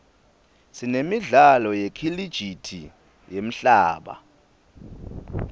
sinemidlalo yekhilijithi yemhlaba